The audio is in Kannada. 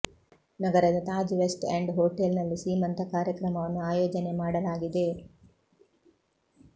ನಗರದ ತಾಜ್ ವೆಸ್ಟ್ ಎಂಡ್ ಹೋಟೆಲ್ ನಲ್ಲಿ ಸೀಮಂತ ಕಾರ್ಯಕ್ರಮವನ್ನು ಆಯೋಜನೆ ಮಾಡಲಾಗಿದೆ